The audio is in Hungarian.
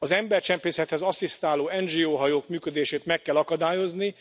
Az embercsempészethez asszisztáló NGO hajók működését meg kell akadályozni.